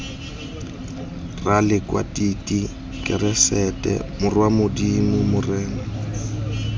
ralekwatiti keresete morwa modimo morena